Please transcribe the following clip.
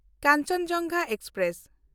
Kanchenjunga express